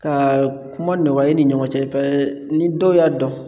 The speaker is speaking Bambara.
Ka kuma nɔgɔya e ni ɲɔgɔn cɛ pa ni dɔw y'a dɔn